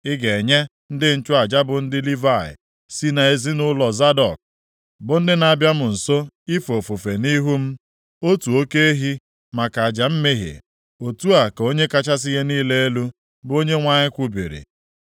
Ị ga-enye ndị nchụaja bụ ndị Livayị si nʼezinaụlọ Zadọk, bụ ndị na-abịa m nso ife ofufe nʼihu m, otu oke ehi maka aja mmehie, otu a ka Onye kachasị ihe niile elu, bụ Onyenwe anyị kwubiri.